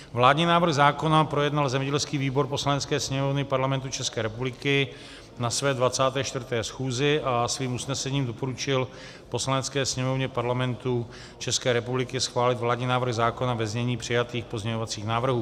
Vládní návrh zákona projednal zemědělský výbor Poslanecké sněmovny Parlamentu České republiky na své 24. schůzi a svým usnesením doporučil Poslanecké sněmovně Parlamentu České republiky schválit vládní návrh zákona ve znění přijatých pozměňovacích návrhů.